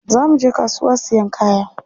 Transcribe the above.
Za muje kasuwa siyan kaya.